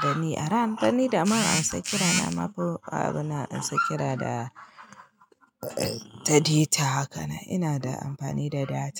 dan ni aran bani dama in sa kira, na ma fi abunan ansa kira da, da deta haka na ina da amfani da data.